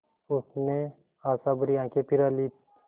उसने आशाभरी आँखें फिरा लीं